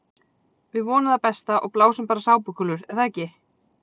Við vonum það besta og blásum bara sápukúlur er það ekki?